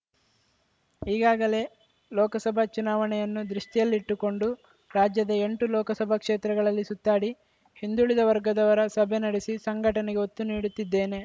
ಈಗಾಗಲೇ ಲೋಕಸಭಾ ಚುನಾವಣೆಯನ್ನು ದೃಷ್ಟಿಯಲ್ಲಿಟ್ಟುಕೊಂಡು ರಾಜ್ಯದ ಎಂಟು ಲೋಕಸಭಾ ಕ್ಷೇತ್ರಗಳಲ್ಲಿ ಸುತ್ತಾಡಿ ಹಿಂದುಳಿದ ವರ್ಗದವರ ಸಭೆ ನಡೆಸಿ ಸಂಘಟನೆಗೆ ಒತ್ತು ನೀಡುತ್ತಿದ್ದೇನೆ